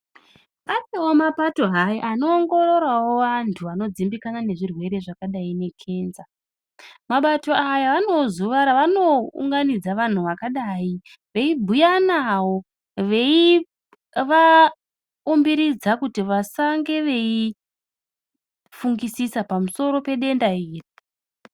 Atova mapato hai anoongororavo vantu vanodzimbikana nezvirwere zvakadai nekenza. Mabato aya anevo zuva raanounganidza vantu vakadai. Veibhuya navo veivaumbiridza kuti vasange veifungisisa pamusiro pedenda iri.